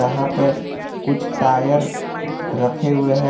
यहां पे कुछ टायर रखे हुए हैं।